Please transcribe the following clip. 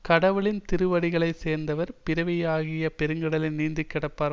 கடவுளின் திருவடிகளைச் சேர்ந்தவர் பிறவியாகிய பெருங்கடலை நீந்தி கடப்பர்